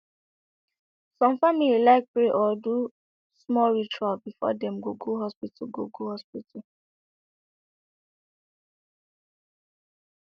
some family like pray or do smol ritual before dem go go hospital go go hospital